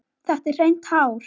Þetta eru hrein tár.